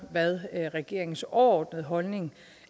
hvad regeringens overordnede holdning